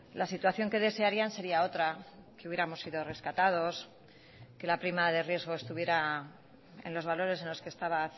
la situación que desearían sería otra que hubiéramos sido rescatados que la prima de riesgo estuviera en los valores en los que estaba